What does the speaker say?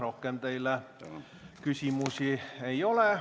Rohkem teile küsimusi ei ole.